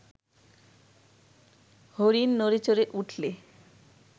হরিণ নড়েচড়ে উঠলে